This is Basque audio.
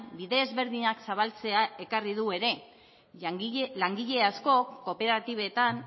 bide ezberdinak zabaltzea ekarri du ere langile askok kooperatibetan